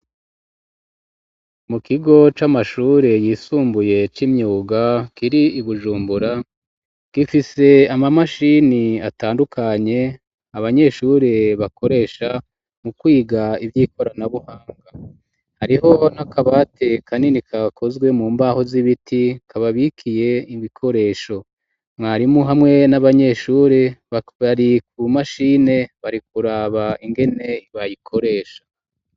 Mu kigo c'amashuri yisumbuye c'imyuga kiri Ibujumbura gifise ama mashini atandukanye abanyeshuri bakoresha mu kwiga ivyi korana buhanga hariho na kabati kanini gakozwe mu mbaho z'ibiti kababikiye ibikoresho mwarimu hamwe n'abanyeshuri bari ku mashini bari kuraba ingene bayikoresha